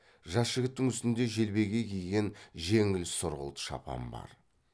жас жігіттің үстінде желбегей киген жеңіл сұрғылт шапан бар